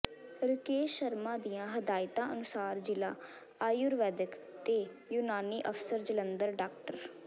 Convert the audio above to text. ਰਕੇਸ਼ ਸ਼ਰਮਾ ਦੀਆਂ ਹਦਾਇਤਾਂ ਅਨੁਸਾਰ ਜ਼ਿਲਾ ਆਯੂਰਵੈਦਿਕ ਤੇ ਯੂਨਾਨੀ ਅਫ਼ਸਰ ਜਲੰਧਰ ਡਾ